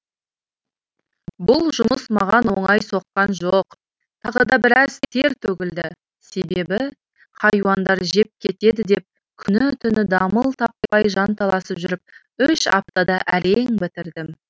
бұл жұмыс маған оңай соққан жоқ тағы да біраз тер төгілді себебі хайуандар жеп кетеді деп күні түні дамыл таппай жанталасып жүріп үш аптада әрең бітірдім